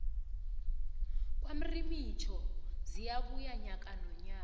kwamrimitjho ziyabuya nyaka nonyaka